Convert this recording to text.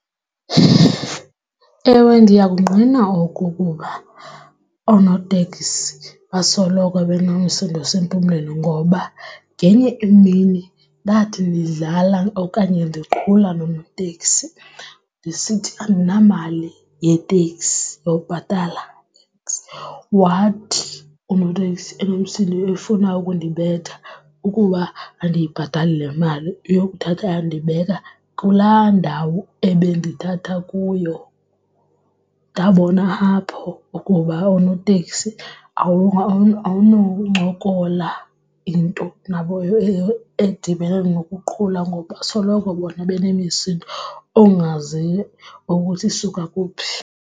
Ewe, ndiyakungqina oku kuba oonoteksi basoloko benomsindo osempumlweni ngoba ngenye imini ndathi ndidlala okanye ndiqhula nonoteksi ndisithi andinamali yeteksi yokubhatala iteksi wathi unoteksi enomsindo efuna ukundibetha ukuba andiyibhatali le mali uyokuthatha andibeka kulaa ndawo ebendithatha kuyo. Ndabona apho ukuba oonoteksi awunoncokola into nabo edibene nokuqhuba ngoba asoloko bona benemisindo ongayaziyo ukuthi isuka kuphi.